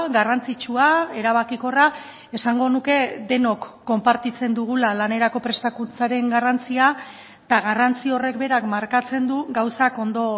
garrantzitsua erabakikorra esango nuke denok konpartitzen dugula lanerako prestakuntzaren garrantzia eta garrantzi horrek berak markatzen du gauzak ondo